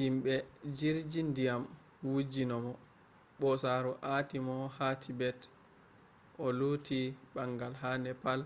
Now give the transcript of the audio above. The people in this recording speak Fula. yimɓe jirji ndiyam wujji mo ɓosaaru aati mo ha tibet o luti ɓangal ha nepal